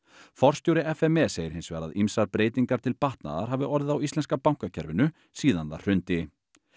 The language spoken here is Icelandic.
forstjóri f m e segir hins vegar að ýmsar breytingar til batnaðar hafi orðið á íslenska bankakerfinu síðan það hrundi